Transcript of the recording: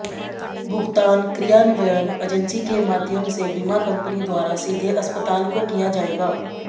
भुगतान क्रियान्वयन एजेंसी के माध्यम से बीमा कंपनी द्वारा सीधे अस्पताल को किया जाएगा